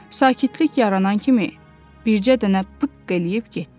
Sakitlik yaranan kimi bircə dənə pıqq eləyib getdi.